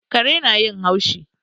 Kare na yin haushi